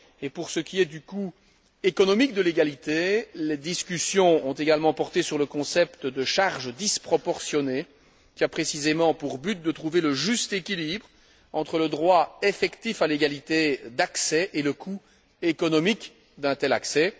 Pour ce qui est du coût économique de l'égalité, les discussions ont également porté sur le concept de charges disproportionnées, qui a précisément pour but de trouver le juste équilibre entre le droit effectif à l'égalité d'accès et le coût économique d'un tel accès.